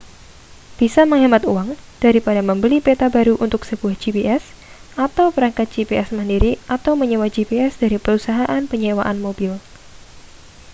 bisa menghemat uang daripada membeli peta baru untuk sebuah gps atau perangkat gps mandiri atau menyewa gps dari perusahaan penyewaan mobil